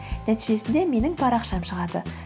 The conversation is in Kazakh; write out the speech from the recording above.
нәтижесінде менің парақшам шығады